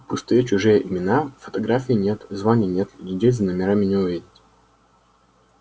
пустые чужие имена фотографий нет званий нет людей за номерами не увидеть